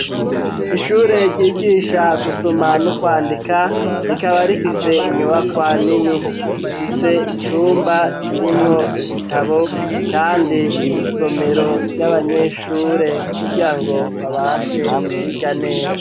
Ishure, ryigisha gusoma, no kwandika rikaba rifise inyubakwa nini ,zifise icumba kirimwo ibitabo ,kandi nisomero ry'abanyeshure ,kugira ngo babashe kwiga neza.